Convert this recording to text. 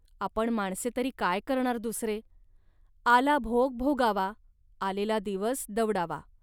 आपण माणसे तरी काय करणार दुसरे. आला भोग भोगावा, आलेला दिवस दवडावा